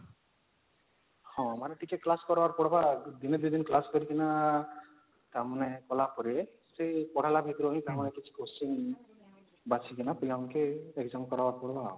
ହଁ ମାନେ ଟିକେ class କରିବାର ପଡ଼ିବା ଦିନେ ଦୁଇ ଦିନ class କରିକି ନା ତା ମାନେ କଲା ପରେ ସେ ପଢ଼େଲା ଭିତରୁ ହିଁ ତାଙ୍କ ପାଇଁ କିଛି question ବାଛିକିନା ପିଲାଙ୍କୁ ଟିକେ exam କରିବାର ପଡିବା